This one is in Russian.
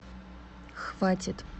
хватит